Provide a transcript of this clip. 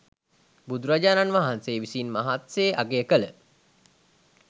බුදුරජාණන් වහන්සේ විසින් මහත්සේ අගය කළ